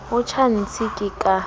o tjha ntshi ke ka